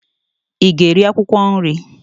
Ị ga-eri akwụkwọ nri?